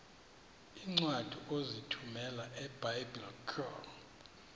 iincwadi ozithumela ebiblecor